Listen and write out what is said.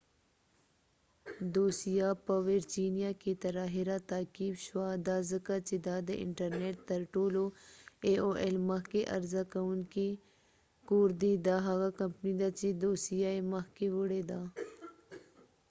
دوسیه په ويرچېنیا کې تر آخره تعقیب شوه دا ځکه چې دا د انټر نټ تر ټولو مخکښ عرضه کوونکې ای اوایل aol کور دي دا هغه کمپنی ده چې دوسیه یې مخکې وړی ده